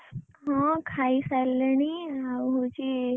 ହଁ ଖାଇ ସାରିଲିଣି ଆଉ ହଉଛି,